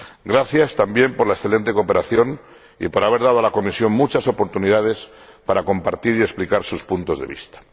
Gracias también por la excelente cooperación y por haber dado a la Comisión muchas oportunidades para compartir y explicar sus puntos de vista.